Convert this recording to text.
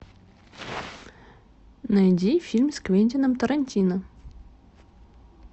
найди фильм с квентином тарантино